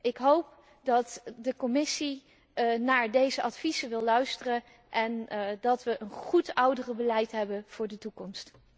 Ik hoop dat de Commissie naar deze adviezen wil luisteren en dat wij een goed ouderenbeleid hebben voor de toekomst.